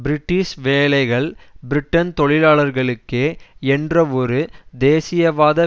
British வேலைகள் Britain தொழிலாளர்களுக்கே என்றவொரு தேசியவாத